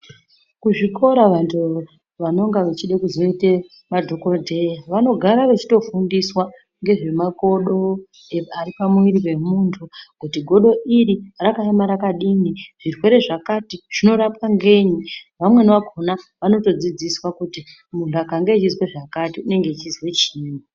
Kuzvikora vantu vanenge vachida kuzoita madhokodheya vanogara veiyofundiswa nezvemakodo Ari pamwiri pemunti kuti godo iri rakakoma rakadini zvirwere zvakati zvinorapwa ngenyi vamweni vakona vanotodzidziswa kuti Muntu akange achiziwa zvakati anenge achizwa chinyi.